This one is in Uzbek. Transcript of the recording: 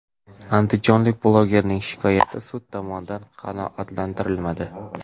Andijonlik blogerning shikoyati sud tomonidan qanoatlantirilmadi.